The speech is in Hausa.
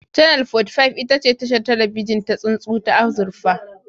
Channel 45 ita ce tashar talabijin ta tsuntsu ta azurfa